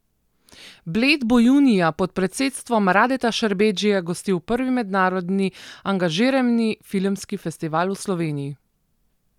Bled bo junija pod predsedstvom Radeta Šerbedžije gostil prvi mednarodni angažirani filmski festival v Sloveniji.